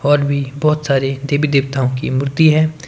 और भी बहुत सारे देवी देवताओं की मूर्ति है।